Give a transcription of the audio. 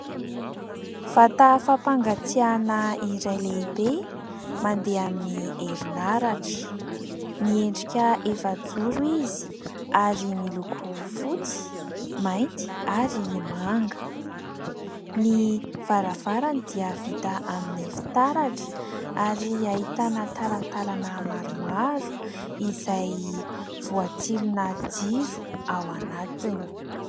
Vata fampangatsiahana iray lehibe mandeha amin'ny herinaratra miendrika efajoro izy, ary miloko fotsy, mainty ary manga ; ny varavarany dia vita amin'ny fitaratra, ary ahitana talatalana maromaro izay voatsilona jiro ao anatiny.